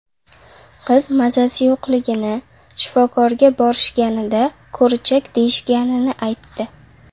Qiz mazasi yo‘qligini, shifokorga borishganida, ko‘richak deyishganini aytdi.